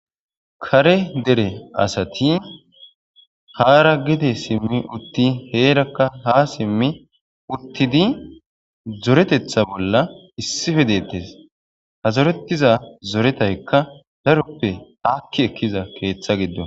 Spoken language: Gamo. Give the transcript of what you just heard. kare dere asati haara gide simmi utti heerakka ha simmi uttidi zoretetha bolla issife deettes ha zorettiza zoretaykka daroppe haakki ekkiza keeththa giddo